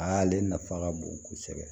A ale nafa ka bon kosɛbɛ